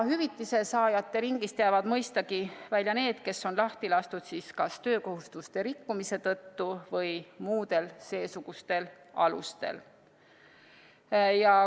Hüvitise saajate ringist jäävad mõistagi välja need, kes on lahti lastud siis kas töökohustuste rikkumise tõttu või muudel seesugustel alustel.